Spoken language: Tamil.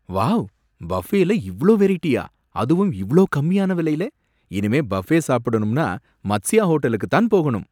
வாவ்! பஃபேல இவ்ளோ வெரைட்டியா! அதுவும் இவ்ளோ கம்மியான விலைல! இனிமே பஃபே சாப்பிடணும்னா மத்சியா ஹோட்டலுக்குத் தான் போகணும்.